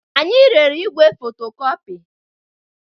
Anyị rere igwe fotocopy.